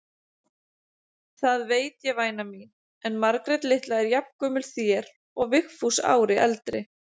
Það veit ég væna mín, en Margrét litla er jafngömul þér og Vigfús ári eldri.